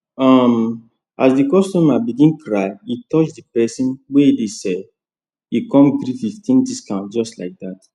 um as the customer begin cry e touch the perso nwey dey sell e con gree fifteen discount just like that